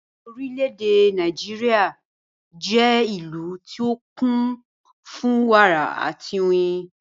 Orílédé Nàìjíríà jẹ́ ìlú tí ó kún fún wàrà àti oyin